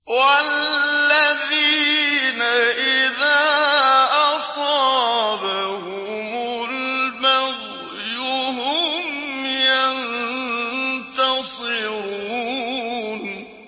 وَالَّذِينَ إِذَا أَصَابَهُمُ الْبَغْيُ هُمْ يَنتَصِرُونَ